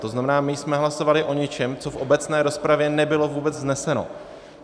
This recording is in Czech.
To znamená, my jsme hlasovali o něčem, co v obecné rozpravě nebylo vůbec vzneseno.